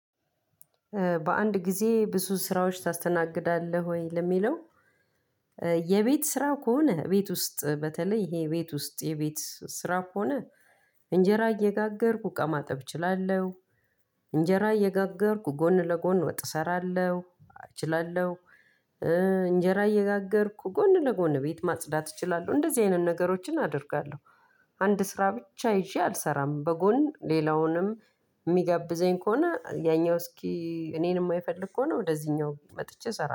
በአንድ ጊዜ ብዙ ስራዎች ታስተናግዳለህ ወይ? ለሚለው የቤት ስራ ከሆነ እቤት ውስጥ በተለይ ይሄ እቤት ውስጥ የቤት ስራ ከሆነ እንጀራ እየጋገርኩ እቃ ማጠብ እችላለሁ። እንጀራ እየጋገርኩ ጎን ለጎን ወጥ እሰራለሁ እችላለሁ። እንጀራ እየጋገርኩ ጎን ለጎን ቤት ማጽዳት እችላለሁ እንደዚህ አይነት ነገሮችን እችላለሁ። አንድ ስራ ብቻ ይዜ አልሰራም በጎን ሌላውንም ሚጋብዘኝ ከሆነ ያኛው እስኪ እኔን ማይፈልግ ከሆነ ወደዚህኛው መጥቼ እሰራለሁ